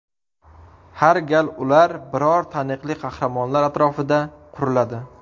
Har gal ular biror taniqli qahramonlar atrofida quriladi.